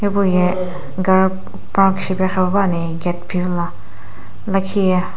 hipou ye gari park shipae pa ni gate phivila lakhiye.